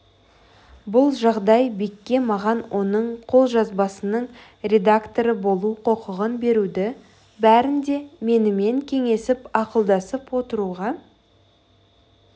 бұл жағдай бекке маған оның қолжазбасының редакторы болу құқығын беруді бәрін де менімен кеңесіп ақылдасып отыруға